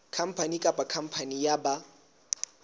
khampani kapa khampani ya ba